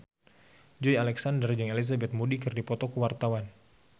Joey Alexander jeung Elizabeth Moody keur dipoto ku wartawan